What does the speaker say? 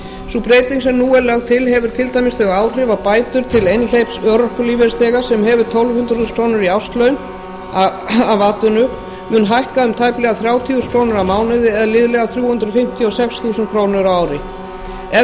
sú breyting sem nú er lögð til hefur til dæmis þau áhrif að bætur til einhleyps örorkulífeyrisþega sem hefur tólf hundruð þúsund krónur í árslaun af atvinnu munu hækka um tæplega þrjátíu þúsund krónur á mánuði eða liðlega þrjú hundruð fimmtíu og sex þúsund krónur á ári